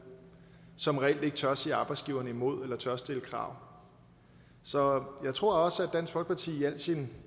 som reelt ikke tør sige arbejdsgiverne imod eller tør stille krav så jeg tror også at dansk folkeparti i al sin